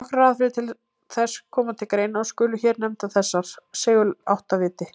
Nokkrar aðferðir til þess koma til greina og skulu hér nefndar þessar: Seguláttaviti.